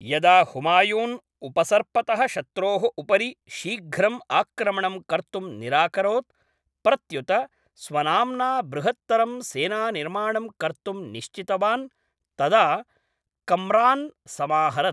यदा हुमायून् उपसर्पतः शत्रोः उपरि शीघ्रम् आक्रमणं कर्तुं निराकरोत्, प्रत्युत स्वनाम्ना बृहत्तरं सेनानिर्माणं कर्तुं निश्चितवान् तदा कम्रान् समाहरत्।